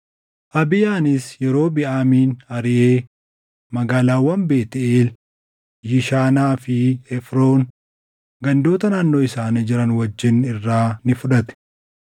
Abiyaanis Yerobiʼaamin ariʼee magaalaawwan Beetʼeel, Yishaanaa fi Efroon, gandoota naannoo isaanii jiran wajjin irraa ni fudhate.